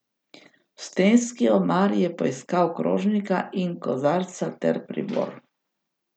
V stenski omari je poiskal krožnika in kozarca ter pribor.